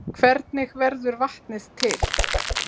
Hvernig verður vatnið til?